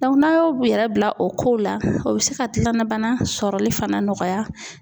n'aw y'a yɛrɛ bila o kow la, o bɛ se ka dilannabana sɔrɔli fana nɔgɔya